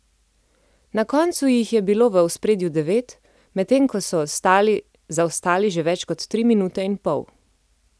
Na koncu jih je bilo v ospredju devet, medtem ko so ostali zaostali že več kot tri minute in pol.